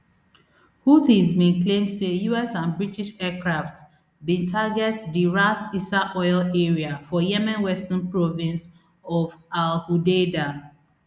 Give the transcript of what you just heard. houthis bin claim say us and british aircraft bin target di ras issa oil area for yemen western province of al hudaydah